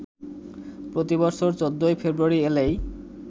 প্রতি বছর ১৪ ফেব্রুয়ারি এলেই